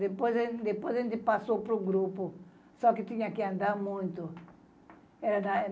Depois a gente, depois a gente passou para o grupo, só que tinha que andar muito.